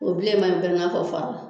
O bilenman in bɛ i n'a fɔ fara.